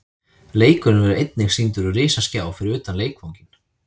Leikurinn verður einnig sýndur á risaskjá fyrir utan leikvanginn.